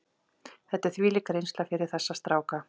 Þetta er þvílík reynsla fyrir þessa stráka.